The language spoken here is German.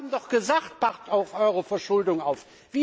Wir haben doch gesagt, passt auf eure Verschuldung auf.